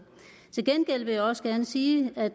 til gengæld vil jeg også gerne sige at